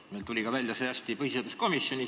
Meil tuli see ka põhiseaduskomisjonis hästi välja.